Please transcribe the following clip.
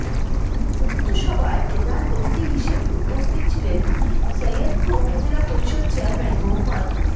উক্ত সভায় প্রধান অতিথি হিসেবে উপস্থিত ছিলেন সৈয়দপুর উপজেলা পরিষদ চেয়ারম্যান মো